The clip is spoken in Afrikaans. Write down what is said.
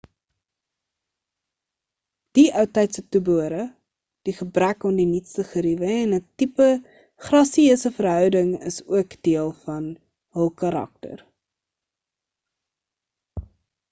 die outydse toebehore die gebrek aan die nuutste geruwe en 'n tipe grasieuse veroudering is ook deel van hul karakter